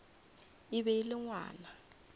e be e le ngwana